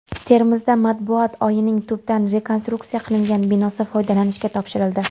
Termizda Matbuot uyining tubdan rekonstruksiya qilingan binosi foydalanishga topshirildi.